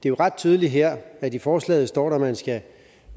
er ret tydeligt her at i forslaget står der at man skal